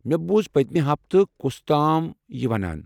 مےٚ بوُز پٔتِمہِ ہفتہٕ کُس تام یہِ ونان۔